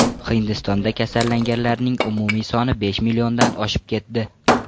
Hindistonda kasallanganlarning umumiy soni besh milliondan oshib ketdi.